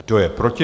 Kdo je proti?